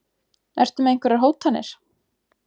Ertu með einhverjar hótanir?